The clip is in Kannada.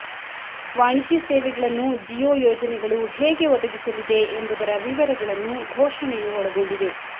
ವಾಣಿಜ್ಯ ಸೇವೆಗಳನ್ನು ಜಿಯೋ ಯೋಜನೆಗಳು ಹೇಗೆ ಒದಗಿಸಲಿದೆ ಎಂಬುದರ ವಿವರಗಳನ್ನು ಘೋಷಣೆಯು ಒಳಗೊಂಡಿದೆ